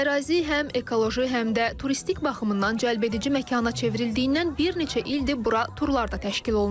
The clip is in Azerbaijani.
Ərazi həm ekoloji, həm də turistik baxımdan cəlbedici məkana çevrildiyindən bir neçə ildir bura turlar da təşkil olunur.